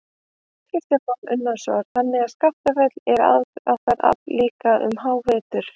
Kristján Már Unnarsson: Þannig að Skaftafell er aðdráttarafl líka um hávetur?